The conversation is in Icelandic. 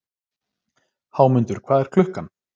Hámundur, hvað er klukkan?